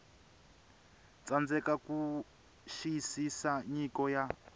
tsandzeka ku xiyisisa nyiko ya